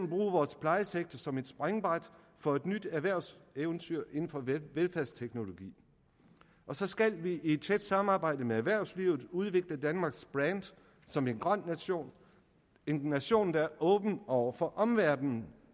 bruge vores plejesektor som et springbræt for et nyt erhvervseventyr inden for velfærdsteknologi og så skal vi i et tæt samarbejde med erhvervslivet udvikle danmarks brand som en grøn nation en nation der er åben over for omverdenen